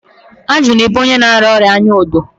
ajụ na-ebu onye na-arịa ịba anya odo.